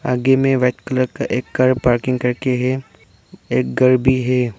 आगे में white colour का एक कार पार्किंग करके है एक घर भी है।